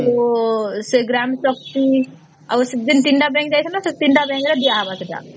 ତ ସେ ଗ୍ରାମ ପାଖକୁ ଆଉ ସେଦିନ ୩ ଟା bank କୁ ଯାଇଥିଲେ ସେ ୩ ଟା bank ରେ ଦିଆ ହବ ସେଟା